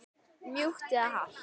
Mjúkt eða hart?